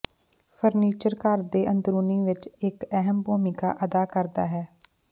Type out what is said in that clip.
furniture ਘਰ ਦੇ ਅੰਦਰੂਨੀ ਵਿੱਚ ਇੱਕ ਅਹਿਮ ਭੂਮਿਕਾ ਅਦਾ ਕਰਦਾ ਹੈ